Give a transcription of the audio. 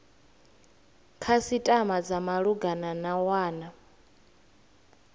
khasitama dza malugana na wana